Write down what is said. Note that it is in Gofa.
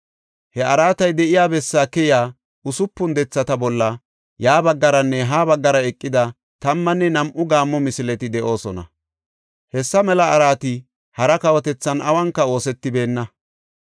He araatay de7iya bessaa keyiya usupun dethata bolla ya baggaranne ha baggara eqida tammanne nam7u gaammo misileti de7oosona. Hessa mela araati hara kawotethan awunka oosetibeenna.